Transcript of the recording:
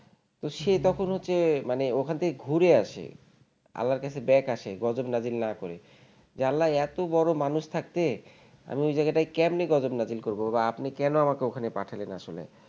তো সে তখন হম হচ্ছে মানে ওখান থেকে ঘুরে আসে আল্লাহর কাছে back আসে গজব নাজির না করে যে আল্লাহ এত বড় মানুষ থাকতে আমি ওই জায়গাটায় কমনে গজব নাজির করব বা আপনি কেন আমাকে ওখানে পাঠালেন আসলে